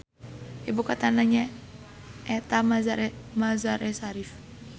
Ibu kotana nyaeta Mazar-e Sharif.